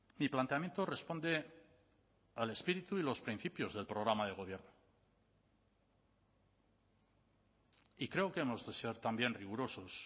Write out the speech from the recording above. mi planteamiento responde al espíritu y los principios del programa de gobierno y creo que hemos de ser también rigurosos